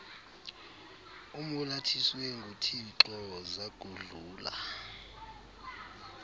umolathiswe nguthixo zakudlula